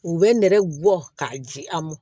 U bɛ nɛgɛ gɔ k'a ji a mɔn